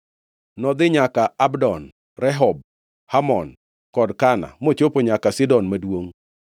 Nodhi nyaka Abdon, Rehob, Hamon kod Kana, mochopo nyaka Sidon Maduongʼ.